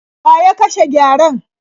Wa ya kashe gyaren?